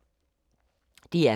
DR K